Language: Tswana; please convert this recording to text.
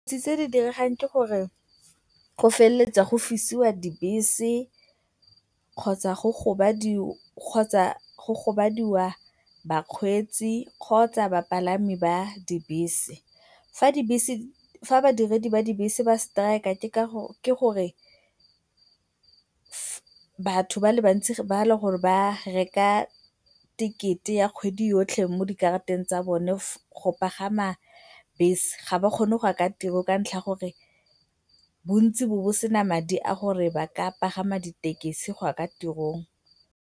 Tse di diragalang ke gore go feleletsa go fisiwa dibese kgotsa go gobadiwa bakgweetsi kgotsa bapalami ba dibese. Fa dibese, fa badiredi ba dibese ba strike-a ke gore batho ba le bantsi ba e leng gore ba reka tekete ya kgwedi yotlhe mo dikarateng tsa bone go pagama bese ga ba kgone go ya kwa tirong ka ntlha ya gore bontsi bo bo bo sena madi a gore ba ka pagama ditekesi go ya kwa tirong.